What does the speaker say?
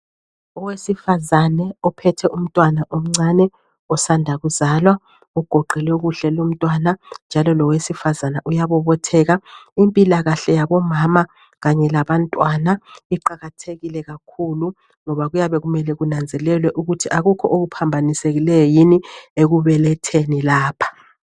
Owesifazane ophethe umntwana omncane osanda kuzalwa ugoqelwe kuhle lumntwana njalo lowesifazane lo uyabobotheka. Impilo yabomama kanye leyabantwana iqakathekile kakhulu ngoba kuyabe kumele kunanzelelwe ukuthi akula okuphambanisekileyo ekubeletheni lapha.